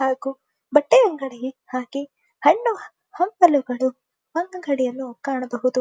ಹಾಗೂ ಬಟ್ಟೆ ಅಂಗಡಿ ಹಾಗೆ ಹಣ್ಣು ಹಂಪಲುಗಳು ಒಂದುಕಡೆಯನ್ನು ಕಾಣಬಹುದು.